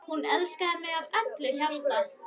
Hún elskaði mig af öllu hjarta.